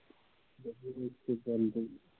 ਇਸ